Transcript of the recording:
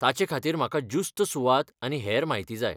ताचेखातीर म्हाका ज्युस्त सुवात आनी हेर म्हायती जाय.